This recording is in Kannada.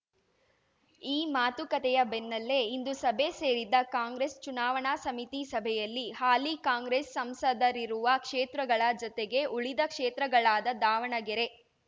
ಈ ಮಾತುಕತೆಯ ಬೆನ್ನಲ್ಲೇ ಇಂದು ಸಭೆ ಸೇರಿದ್ದ ಕಾಂಗ್ರೆಸ್ ಚುನಾವಣಾ ಸಮಿತಿ ಸಭೆಯಲ್ಲಿ ಹಾಲಿ ಕಾಂಗ್ರೆಸ್ ಸಂಸದರಿರುವ ಕ್ಷೇತ್ರಗಳ ಜತೆಗೆ ಉಳಿದ ಕ್ಷೇತ್ರಗಳಾದ ದಾವಣಗೆರೆ